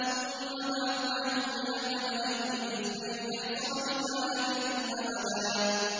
ثُمَّ بَعَثْنَاهُمْ لِنَعْلَمَ أَيُّ الْحِزْبَيْنِ أَحْصَىٰ لِمَا لَبِثُوا أَمَدًا